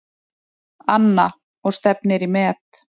Anna: Og stefnir í met?